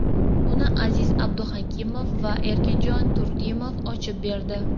Uni Aziz Abduhakimov va Erkinjon Turdimov ochib berdi .